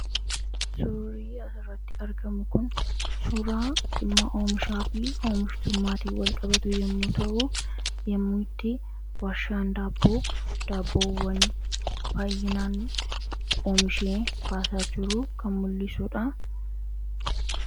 Suurri asirratti argamu kun suuraa dhiimma oomishaa fi oomishtummaatiin walqabatu yommuu ta'u, yommuu itti warshaan daabboo daabboowwan baay'inaan oomishee baasaa jiru kan mul'isu dha.